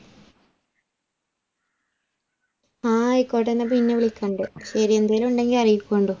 ആ ആയിക്കോട്ടെ എന്ന പിന്നെ വിളിക്കണ്ട് ശരി എന്തെങ്കിലും ഉണ്ടെഅറിയിക്കുണ്ടോ